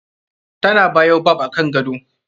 Ta na baobab akan gado.